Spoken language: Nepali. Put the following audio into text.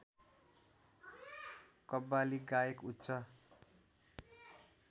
कव्वाली गायक उच्च